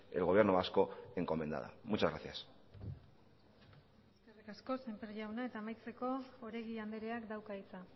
el gobierno vasco encomendada muchas gracias eskerrik asko semper jauna eta amaitzeko oregi andreak dauka hitza